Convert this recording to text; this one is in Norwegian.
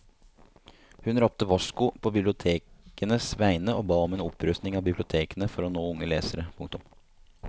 Hun ropte varsko på bibliotekenes vegne og ba om en opprustning av bibliotekene for å nå unge lesere. punktum